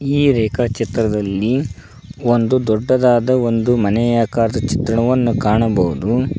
ಈ ರೇಖಾ ಚಿತ್ರದಲ್ಲಿ ಒಂದು ದೊಡ್ಡದಾದ ಒಂದು ಮನೆಯಾಕಾರದ ಚಿತ್ರವನ್ನು ಕಾಣಬಹುದು.